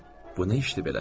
Bu nə işdir belə?